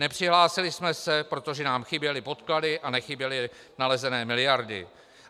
Nepřihlásili jsme se, protože nám chyběly podklady a nechyběly nalezené miliardy.